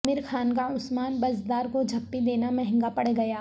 عامر خان کا عثمان بزدار کو جپھی دینا مہنگا پڑگیا